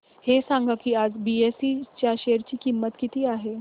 हे सांगा की आज बीएसई च्या शेअर ची किंमत किती आहे